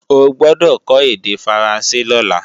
O gbọ́dọ̀ kó èdè Faransé lọ́la!